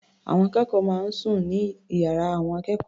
Àwọn akẹ́kọ̀ọ́ máa ń sùn sí ìyára àwọn akẹ́kọ̀ọ́.